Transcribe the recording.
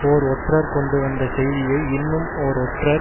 ஓர் ஒற்றர் கொண்டு வந்த செய்தியை இன்னும் ஓர் ஒற்றர்